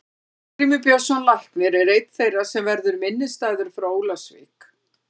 Arngrímur Björnsson læknir er einn þeirra sem verður minnisstæður frá Ólafsvík.